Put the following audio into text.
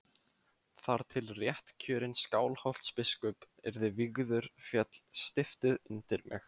Þar til réttkjörinn Skálholtsbiskup yrði vígður féll stiftið undir mig.